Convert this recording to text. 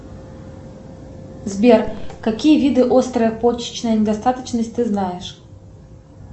сбер какие виды острой почечной недостаточности ты знаешь